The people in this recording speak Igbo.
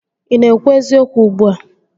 Ị na-ekwu eziokwu ugbua?